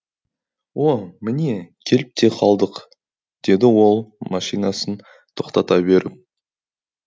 о міне келіп те қалдық деді ол машинасын тоқтата беріп